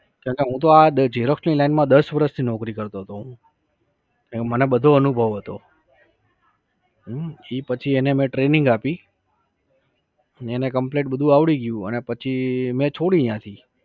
કેમ કે હું તો આ xerox ની line માં દસ વર્ષથી નોકરી કરતો હતો હું. એટલે મને બધો અનુભવ હતો. હમ એ પછી એને મે training આપી, ને એને complete બધું આવળી ગયું અને પછી મે છોડી ન્યાથી